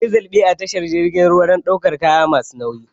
Akwai zalɓe a tashar jirgin ruwa dan ɗaukan kaya masu nauyi